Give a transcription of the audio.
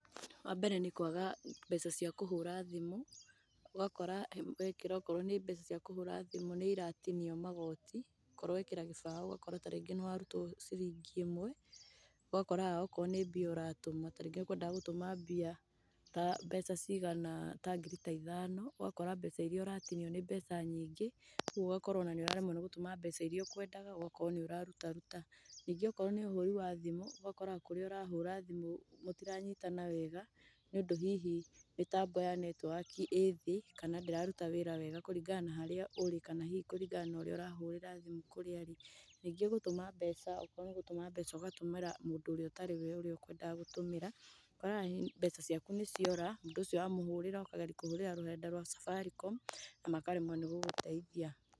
Wa mbere nĩkwaga mbeca cia kũhũra thimũ, ũgakora wekĩra okorwo nĩ mbeca cia kũhũra thimũ nĩ iratinio magoti, okorwo wekĩra ta gĩbaũ ũgakora ta rĩngĩ nĩ warutwo ciringi ĩmwe, ũgakoragaga okorwo nĩ mbia ũratũma, ta rĩngĩ ũkwendaga gũtũma mbia ta mbeca cigana, ta ngiri ta ithano, ũgakora mbeca iria ũratinio nĩ mbeca nyingĩ, kũoguo ũgakorwo o na nĩũraremwo nĩgũtũma mbeca iria ũkwendaga, ũgakorwo nĩ ũraruta ruta. Ningĩ okorwo nĩ ũhũri wa thimũ, ũgakora kũrĩa ũrahũra himũ mũtiranyitana nĩ ũndũ hihi mĩtambo ya netiwaki ĩ thĩ kana ndĩraruta wĩra wega kũringana na harĩa urĩ kana hihi kũringana na harĩa ũrĩa ũrahũrĩra thimu kũrĩa arĩ. Ningĩ gũtũma mbeca, okorwo nĩ gũtũma mbeca ũgatũmĩra mũndũ ũrĩa ũtarĩ we mũndũ ũrĩa ũkwendaga gũtũmĩra, ũkona ona mbeca ciaku nĩ ciora, mũndũ ũcio wamũhũrĩra, ũkageria kũhũrĩra rũrenda rwa Safaricom na makaremwo nĩ gũgũteithia.